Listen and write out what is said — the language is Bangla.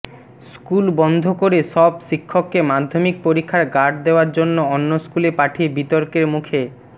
স্কুল বন্ধ করে সব শিক্ষককে মাধ্যমিক পরীক্ষার গার্ড দেওয়ার জন্য অন্য স্কুলে পাঠিয়ে বিতর্কের মুখে